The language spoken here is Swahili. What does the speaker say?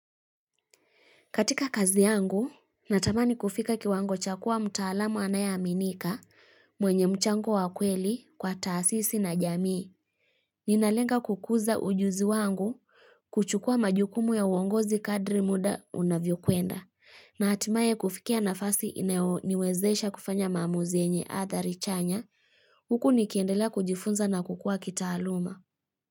Katika kazi yangu, natamani kufika kiwango cha kuwa mtaalamu anaye aminika mwenye mchango wa kweli kwa taasisi na jamii. Ninalenga kukuza ujuzi wangu kuchukua majukumu ya uongozi kadri muda unavyokwenda. Na hatimaye kufikia nafasi inayo niwezesha kufanya maamuzi enye adhari chanya. Huku nikiendelea kujifunza na kukua kitaaluma.